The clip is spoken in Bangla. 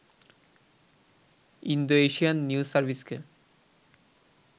Indo-Asian news সার্ভিসকে